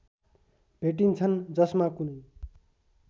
भेटिन्छन् जसमा कुनै